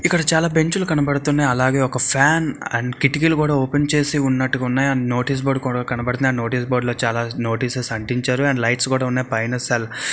ఇక్కడ చాలా బెంచ్ లు కనబడుతున్నాయి. అలాగే ఒక ఫ్యాన్ అండ్ కిటికీలు కూడా ఓపెన్ చేసి ఉన్నట్టుగా ఉన్నాయి. అండ్ నోటీస్ బోర్డు కూడా కనబడుతున్నాయి.నోటీస్ బోర్డు లో చాలా నోటీసెస్ అంటించారు. అండ్ లైట్స్ కూడా ఉన్నాయి. పైన సెల్ --